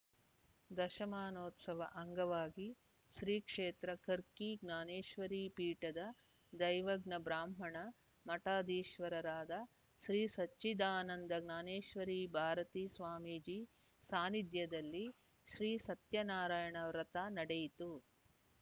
ದಶಮಾನೋತ್ಸವ ಅಂಗವಾಗಿ ಶ್ರೀ ಕ್ಷೇತ್ರ ಕರ್ಕಿ ಜ್ಞಾನೇಶ್ವರಿ ಪೀಠದ ದೈವಜ್ಞ ಬ್ರಾಹ್ಮಣ ಮಠಾಧೀಶ್ವರರಾದ ಶ್ರೀ ಸಚ್ಚಿದಾನಂದ ಜ್ಞಾನೇಶ್ವರಿ ಭಾರತಿ ಸ್ವಾಮೀಜಿ ಸಾನ್ನಿಧ್ಯದಲ್ಲಿ ಶ್ರೀ ಸತ್ಯನಾರಾಯಣ ವ್ರತ ನಡೆಯಿತು